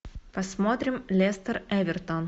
посмотрим лестер эвертон